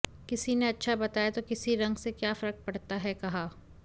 किसी ने अच्छा बताया तो किसी रंग से क्या फर्क पड़ता है कहा